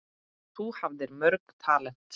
Þú hafðir mörg talent.